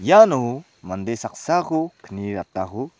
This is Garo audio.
iano mande saksako kni ratako--